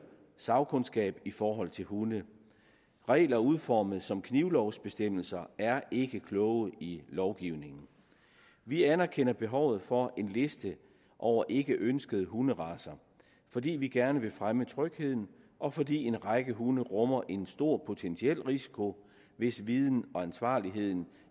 sagkundskab i forhold til hunde regler udformet som knivlovsbestemmelser er ikke kloge i lovgivningen vi anerkender behovet for en liste over ikkeønskede hunderacer fordi vi gerne vil fremme trygheden og fordi en række hunde rummer en stor potentiel risiko hvis viden og ansvarlighed